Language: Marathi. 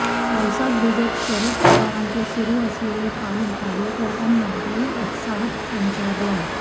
पावसात भिजत शरद पवाराचे सुरू असलेले पाहून कार्यकर्त्यांमध्येही उत्साह संचारला